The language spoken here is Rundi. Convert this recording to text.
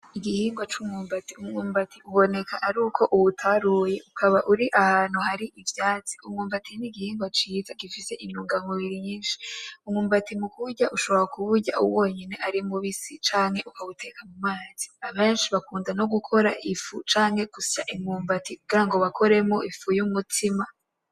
Igihingwa c'umwumbati, Umwumbati uboneka aruko uwutaruye ukaba uri ahantu hari ivyatsi, umwumbati n'igihingwa ciza gifise intunga mubiri nyishi ,umwumbati mukuwurya ushobora kuwurya ari wonyene ari mubisi canke uka wuteka no mumazi abeshi bakunda no gukora ifu canke gusya imyumbati kugirango bakore ifu y'umutsima